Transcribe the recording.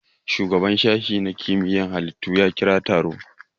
Shugaban sashe na kimiyar halittu ya kira taro